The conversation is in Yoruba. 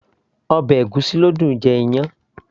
ọbẹ̀ ègúsí ló dùn -un jẹ iyán